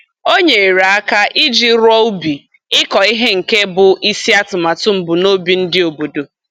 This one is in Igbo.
O nyere aka iji rụọ ubi ịkọ ihe nke bụ isi atụmatụ mbunobi ndị obodo